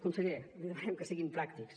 conseller li demanem que siguin pràctics